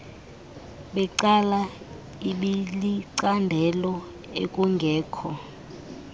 becala ibilicandelo ekungekho